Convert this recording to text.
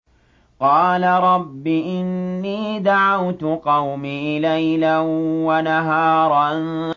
قَالَ رَبِّ إِنِّي دَعَوْتُ قَوْمِي لَيْلًا وَنَهَارًا